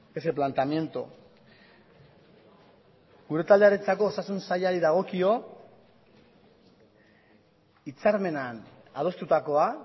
ese planteamiento gure taldearentzako osasun sailari dagokio hitzarmenean adostutakoa